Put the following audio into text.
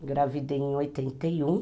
Engravidei em oitenta e um